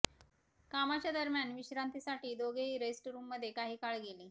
कामाच्या दरम्यान विश्रांतीसाठी दोघेही रेस्ट रूममध्ये काही काळ गेले